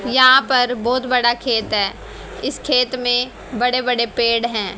यहां पर बहोत बड़ा खेत है इस खेत में बड़े बड़े पेड़ हैं।